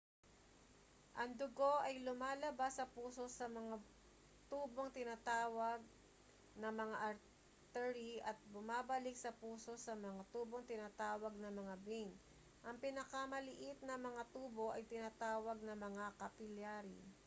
ang dugo ay lumalabas sa puso sa mga tubong tinatawag na mga artery at bumabalik sa puso sa mga tubong tinatawag na mga vein ang pinakamaliit na mga tubo ay tinatawag na mga capillary